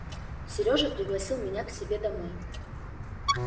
серёжа пригласил меня к себе домой